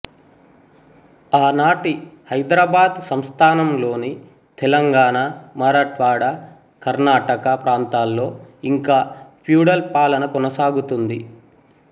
ఆనాటి హైదరాబాద్ సంస్థానంలోని తెలంగాణ మరాఠ్వాడా కర్ణాటక ప్రాంతాల్లో ఇంకా ప్యూడల్ పాలన కొనసాగుతోంది